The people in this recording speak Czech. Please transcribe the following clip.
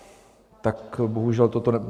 Tak bohužel toto...